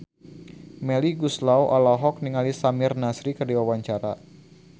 Melly Goeslaw olohok ningali Samir Nasri keur diwawancara